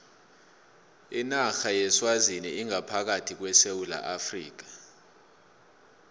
inarha yeswazini ingaphakathi kwesewula afrika